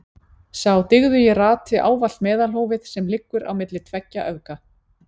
Sá dygðugi rati ávallt meðalhófið sem liggur á milli tveggja öfga.